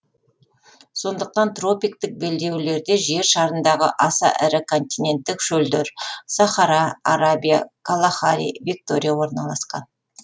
сондықтан тропиктік белдеулерде жер шарындағы аса ірі континенттік шөлдер сахара арабия калахари виктория орналасқан